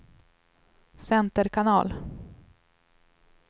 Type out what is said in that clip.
center kanal